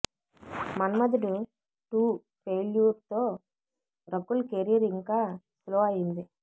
మన్మధుడు two failure తో Rakul career ఇంకా slow అయ్యింది